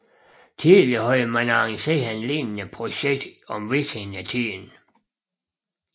Tidligere havde man arrangeret et lignende projekt om vikingetiden